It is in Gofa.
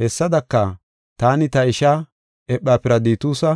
Hessadaka, taani, ta ishaa Ephafiraditusa,